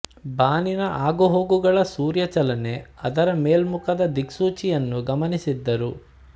ಬಾನಿನ ಆಗುಹೋಗುಗಳ ಸೂರ್ಯ ಚಲನೆ ಅದರ ಮೇಲ್ಮುಖದ ದಿಕ್ಸೂಚಿಯನ್ನು ಗಮನಿಸಿದ್ದರು